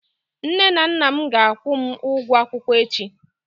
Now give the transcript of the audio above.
Nne na nna m ga-akwụ m ụgwọ akwụkwọ echi.